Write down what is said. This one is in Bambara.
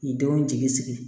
K'i denw jigi sigi